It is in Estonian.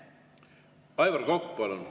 Aivar Kokk, palun!